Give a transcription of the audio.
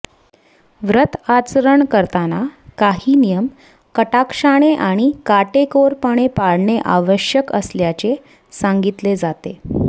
व्रताचरण करताना काही नियम कटाक्षाने आणि काटेकोरपणे पाळणे आवश्यक असल्याचे सांगितले जाते